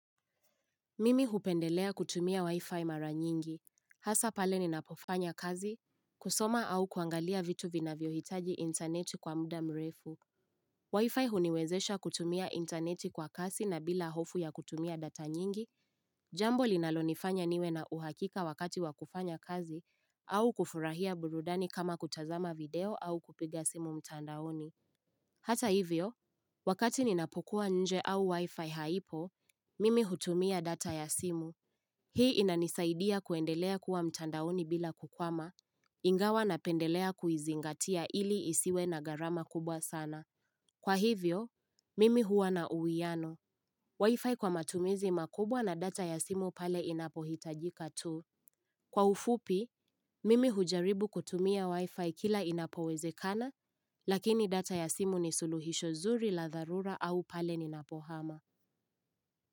Mimi hupendelea kutumia wi-fi mara nyingi. Hasa pale ninapofanya kazi, kusoma au kuangalia vitu vinavyo hitaji intaneti kwa muda mrefu. Wi-fi huniwezesha kutumia intaneti kwa kasi na bila hofu ya kutumia data nyingi, jambo linalonifanya niwe na uhakika wakati wakufanya kazi au kufurahia burudani kama kutazama video au kupiga simu mtandaoni. Hata hivyo, wakati ninapokuwa nje au wi-fi haipo, mimi hutumia data ya simu. Hii inanisaidia kuendelea kuwa mtandaoni bila kukwama, ingawa napendelea kuizingatia ili isiwe na gharama kubwa sana. Kwa hivyo, mimi huwa na uhiano. Wi-Fi kwa matumizi makubwa na data ya simu pale inapohitajika tu. Kwa ufupi, mimi hujaribu kutumia Wi-Fi kila inapowezekana, lakini data ya simu ni suluhisho zuri la dharura au pale ninapo hama.